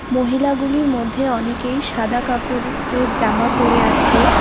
মহিলাগুলির মধ্যে অনেকেই সাদা কাপড় টের জামা পরে আছে।